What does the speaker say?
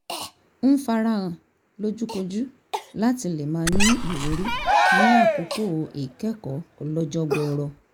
ń fara hàn lójúkojú láti lè máa ní ìwúrí ní àkókò ìkẹ́kọ̀ọ́ ọlọ́jọ́ gbọọrọ